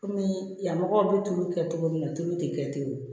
Kɔmi yan mɔgɔw bɛ tulu kɛ cogo min na tulu tɛ kɛ ten o